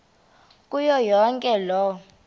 kuyo yonke loo